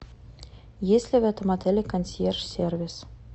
есть ли в этом отеле консьерж сервис